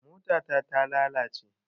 Mota ta ta lalace